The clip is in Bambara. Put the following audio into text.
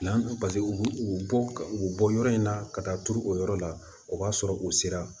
u bɔ ka u bɔ yɔrɔ in na ka taa turu o yɔrɔ la o b'a sɔrɔ u sera